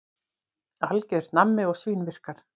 Algjört nammi og svínvirkar.